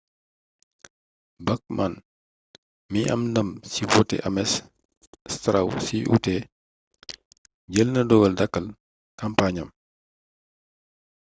bachman mi am ndam ci woote ames straw ci ut jël na dogal dakkal kàmpaañam